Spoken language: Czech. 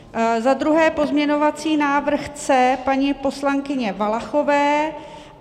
Za druhé pozměňovací návrh C paní poslankyně Valachové.